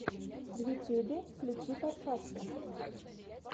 в ютюбе включи подкасты